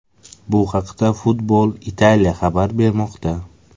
Bu haqida Football Italia xabar bermoqda .